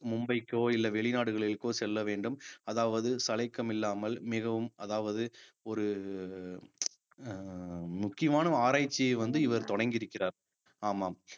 மும்பைக்கோ இல்ல வெளிநாடுகளுக்கோ செல்ல வேண்டும் அதாவது சளைக்கம் இல்லாமல் மிகவும் அதாவது ஒரு அஹ் முக்கியமான ஒரு ஆராய்ச்சியை வந்து இவர் தொடங்கி இருக்கிறார் ஆமாம்